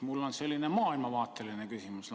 Mul on lausa selline maailmavaateline küsimus.